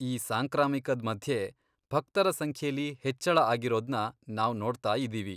ಈ ಸಾಂಕ್ರಾಮಿಕದ್ ಮಧ್ಯೆ, ಭಕ್ತರ ಸಂಖ್ಯೆಲಿ ಹೆಚ್ಚಳ ಆಗಿರೋದ್ನ ನಾವ್ ನೋಡ್ತಾಯಿದೀವಿ.